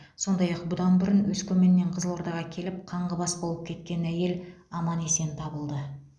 сондай ақ бұдан бұрын өскеменнен қызылордаға келіп қаңғыбас болып кеткен әйел аман есен табылды